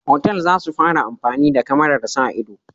Otal za su fara amfani da kyamarar sa ido.